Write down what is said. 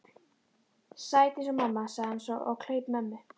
Sæt eins og mamma, sagði hann svo og kleip mömmu.